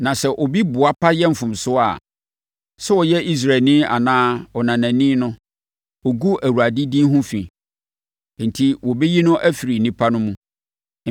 “ ‘Na sɛ obi boapa yɛ mfomsoɔ a, sɛ ɔyɛ Israelni anaa ɔnanani no, ɔgu Awurade din ho fi, enti wɔbɛyi no afiri nnipa no mu.